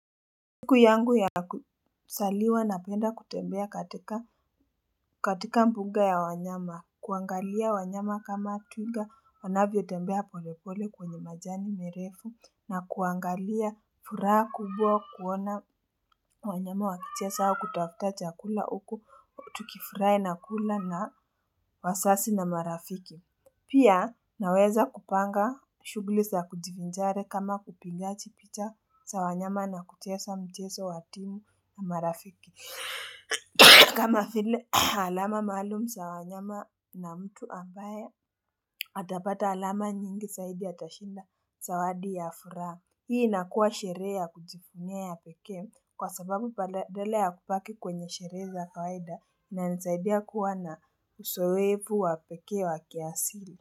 Siku yangu ya kuzaliwa napenda kutembea katika katika mbuga ya wanyama, kuangalia wanyama kama twiga wanavyotembea pole pole kwenye majani mirefu, na kuangalia furaha kubwa kuona wanyama wakicheza au kutafuta chakula huku, tukifurahi na kula na wazazi na marafiki. Pia naweza kupanga shughuli za kujivinjari kama kupigaji picha za wanyama na kucheza mchezo wa timu na marafiki. Kama vile alama maalum za wanyama na mtu ambaye, atapata alama nyingi zaidi atashinda zawadi ya furaha. Hii inakua sherehe ya kujivunia ya pekee kwa sababu badala ya kubaki kwenye sherehe za kawaida inanisaidia kuwa na uzoefu wa pekee wa kiasili.